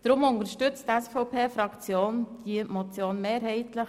Deshalb unterstützt die SVP-Fraktion diese Motion mehrheitlich.